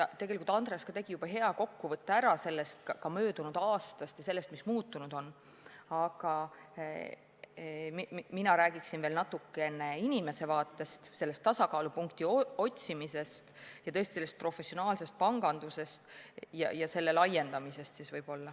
Tegelikult Andres tegi juba hea kokkuvõtte ära, mis möödunud aastaga muutunud on, aga mina räägiksin natuke inimese vaatest, sellest tasakaalupunkti otsimisest ja tõesti professionaalsest pangandusest ja võib-olla ka selle laiendamisest.